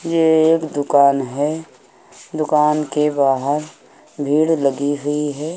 ये एक दुकान है। दुकान के बाहर भीड़ लगी हुई है।